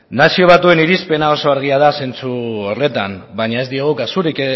nazio batuen irizpena oso argia da zentzu horretan baina ez diogu kasurik